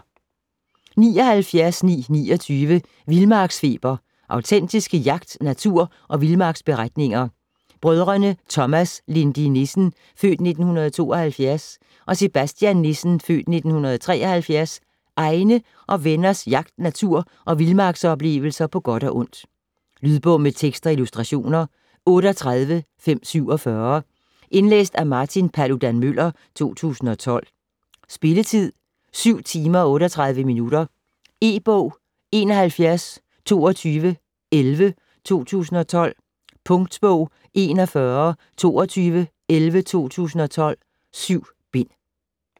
79.929 Vildmarksfeber: autentiske jagt-, natur- og vildmarksberetninger Brødrene Thomas Lindy Nissens (f. 1972) og Sebastian Nissens (f. 1973) egne og venners jagt-, natur- og vildmarksoplevelser på godt og ondt. Lydbog med tekst og illustrationer 38547 Indlæst af Martin Paludan-Müller, 2012. Spilletid: 7 timer, 38 minutter. E-bog 712211 2012. Punktbog 412211 2012. 7 bind.